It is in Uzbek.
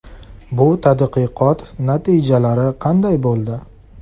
Bu tadqiqot natijalari qanday bo‘ldi?